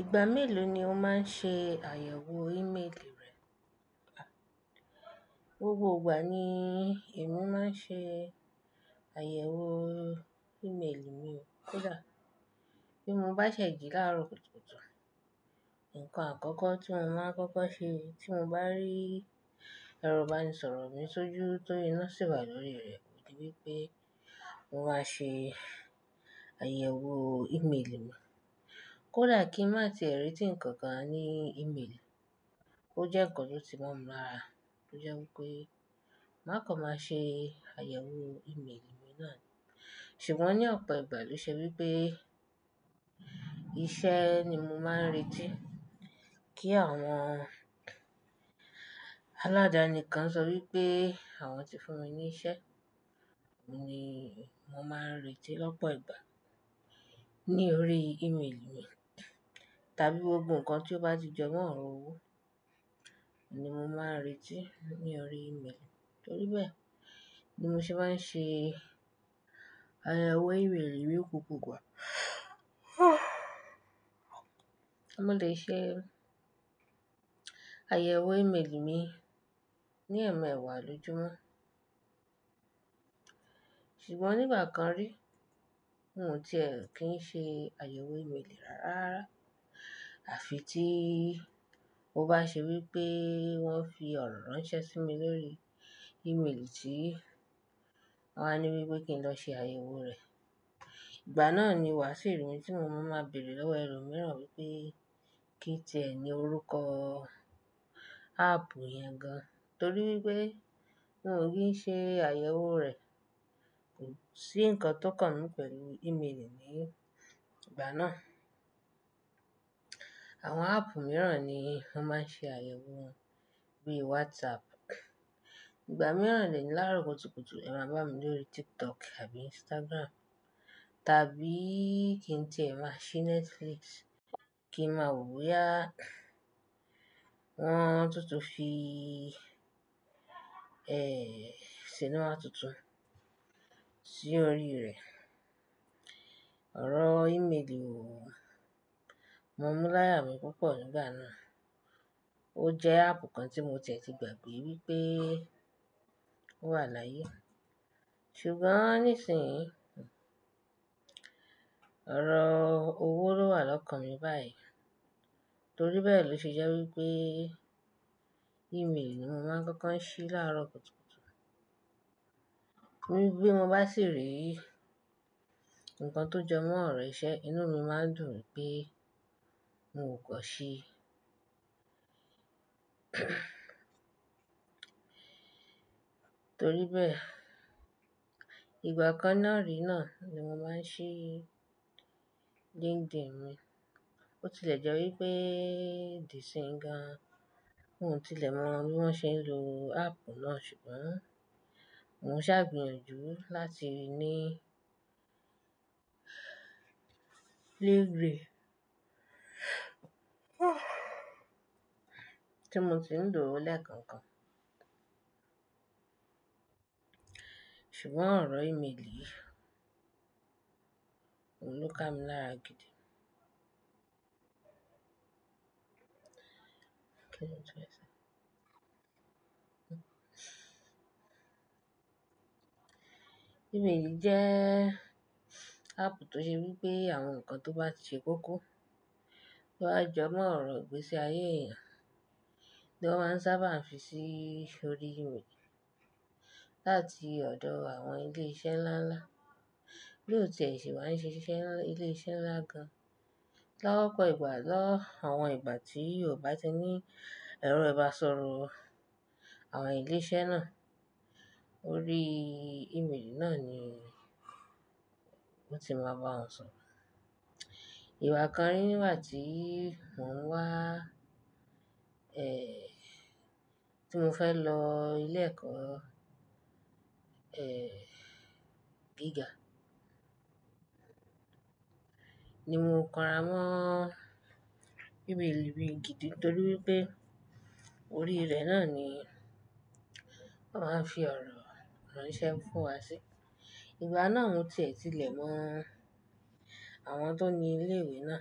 Ìgbà mélòó ni o máa ń ṣe àyẹ̀wò ìméèlì rẹ? Gbogbo ìgbà ni èmi máa ń ṣe àyẹ̀wò ìméèlì mi. Kódà bí mo bá ṣẹ̀jì láàárọ̀ kùtùkùtù, nǹkan àkọ́kọ́ tí mo máa kọ́kọ́ ṣe tí mo bá rí ẹrò bá ni sọ̀rọ̀ mi sójú torí iná sì wà lórí rẹ̀, kò di wípé mo máa ṣe àyẹ̀wò ìméèlì mi. Kódà kí n má ti èrè tì ǹkan kan ní ìméèlì, ó jẹ́ ǹkan tó ti mọ́ mi lára tó jẹ́ wípé má kọ má ṣe àyẹ̀wò ìméèlì mi náà. Ṣùgbọ́n ní ọ̀pọ̀ ìgbà ló ṣe wípé iṣẹ́ ni mo máa ń retí kí àwọn aládàá nìkan sọ wípé àwọn ti fún mi ní iṣẹ́ ni mo máa ń retí lọ́pọ̀ ìgbà ní orí ìméèlì mi. Tàbí gbogbo ǹkan tí ó bá ti jẹ mọ́ ọ̀rọ̀ owó ni mo máa ń retí ní orí ìméèlì mi. Torí bẹ́ẹ̀ ni mo ṣe máa ń ṣe àyẹ̀wò ìméèlì mi kúkù gbangba. Mo lè ṣe àyẹ̀wò ìméèlì mi ní ẹ̀ẹ̀mẹwàá lójoojúmọ́. Ṣùgbọ́n nígbà kan rí, n ò tìẹ kí n ṣe àyẹ̀wò ìméèlì rárá. Àfi tí ó bá ṣe wípé wọ́n fi ọ̀rọ̀ ránṣẹ́ sí mi lórí ìméèlì tí wọ́n á ní wípé kí n lọ ṣe àyẹ̀wò rẹ̀. Ìgbà náà ni wàásù ìròyìn tí mo máa ń máa bèèrè lọ́wọ́ ẹrú mìíràn wípé kí í tẹ̀ẹ́ ní orúkọ áàpù yẹn gan torí wípé wọn ò kí ń ṣe àyẹ̀wò rẹ̀. Kò sí ǹkan tó kànmí pẹ̀lú ìméèlì ní ìgbà náà. Àwọn áàpù mìíràn ni wọ́n máa ń ṣe àyẹ̀wò wọn, bíi WhatsApp. Ìgbà mìíràn lè ní láàárọ̀ kùtùkùtù, ẹ máa bá mi lórí TikTok tàbí Instagram, tàbí kí n tẹ̀ẹ́ máa ṣí Netflix kí n máa wo boyá wọn túntún fi, ẹ́éh, sinú àtúntún sí orí rẹ̀. Ọ̀rọ̀ ìméèlì wò, mo m láyà mi púpọ̀ nígbà náà. Ó jẹ́ áàpù kan tí mo tẹ̀ẹ́ ti gbàgbé wípé ó wà láyé. Ṣùgbọ́n nísìnyí, ọ̀rọ̀ òwọ̀ lówà lọ́kàn mi báyìí. Torí bẹ́ẹ̀ ló ṣe jẹ́ wípé ìméèlì ni mo máa ń kọ́kọ́ ń ṣí láàárọ̀ kùtùkùtù. Ní bí mo bá sì rí ǹkan tó jẹ mọ́ ọ̀rọ̀ ìṣe, inú mi máa ń dùn pé mo kò ṣe. Torí bẹ́ẹ̀, ìgbà kan náà rí náà ni mo máa ń ṣí LinkedIn mi. Ó ti lè jẹ́ wípé di síńgá, n ò tí lè mọ bí wón ṣe ń lo áàpù náà ṣùgbọ́n mò ń ṣàgbiyànjú láti ní degree tí mo ti ń dùró lẹ́ẹ̀kan kan. Ṣùgbọ́n ọ̀rọ̀ ìméèlì òún ká mi láàgídì. Kíni ọ̀tún ẹ sọ? Ìméèlì jẹ́ áàpù tó ṣe wípé àwọn ǹkan tó bá ti ṣe kókó, tó bá jẹ mọ́ ọ̀rọ̀ ìgbésí ayé èèyàn ni wọ́n sábà ń fi sí orí ìméèlì láti ọ̀dọ̀ àwọn ilé iṣẹ́ ńlá ńlá. Bí ó tiẹ̀ sì wàá ń ṣe iṣẹ́ ní ilé iṣẹ́ ńlá gan-an, lọ́pọ̀ ìgbà lọ́ àwọn ìgbà tí o ò bá ti ní ẹró ẹ bá sọ̀rọ̀ àwọn ilé iṣẹ́ náà, orí ìméèlì náà ni wọ́n ti máa bá ọ sọ̀rọ̀. Ìgbà kan rí nígbà tí mò ń wá, ẹ́ẹ́h, tí mo fẹ́ lọ ilé ẹ̀kọ́, ẹ́ẹ́h, giga, ni mo kọra mọ ìméèlì mi gidi torí wípé orí rẹ̀ náà ni wọ́n máa ń fi ọ̀rọ̀ ránṣẹ́ fún wa sí. Ìgbà náà mo tẹ̀ẹ́ tí lè mọ àwọn tó ní ilé ìwé náà,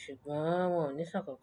ṣùgbọ́n wọn ò ní ṣàn kankan.